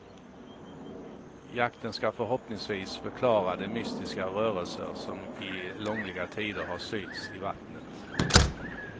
Jakten ska förhoppningsvis förklara de mystiska rörelser som i långliga tider har synts i vattnet.